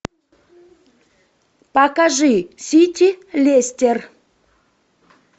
покажи сити лестер